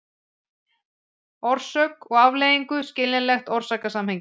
orsök og afleiðingu, skiljanlegt orsakasamhengi.